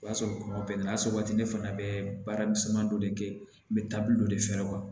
O y'a sɔrɔ kɔngɔ bɛnna asa waati ne fana bɛ baaramisɛnnin dɔ de kɛ n bɛ taabolo dɔ de fɛ